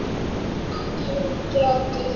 Rétt til getið.